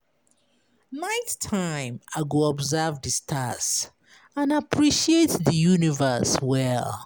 Night time, I go observe di stars and appreciate di universe well.